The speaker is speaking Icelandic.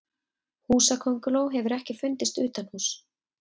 húsakönguló hefur ekki fundist utanhúss